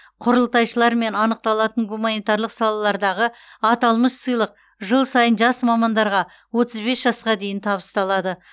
құрылтайшылармен анықталатын гуманитарлық салалардағы аталмыш сыйлық жыл сайын жас мамандарға отыз бес жасқа дейін табысталады